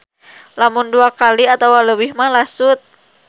Lamun dua kali atawa leuwih mah lasut.